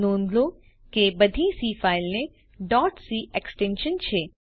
નોંધ લો કે બધી સી ફાઈલને ડોટ સી એક્સ્ટેંશન છે